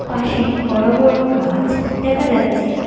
পাশে বড়ো বড়ো গাছ দেখা যাচ্ছে।